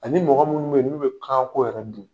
Ani mɔgɔ minnu bɛ yen, n'u bɛ kanko yɛrɛ dun.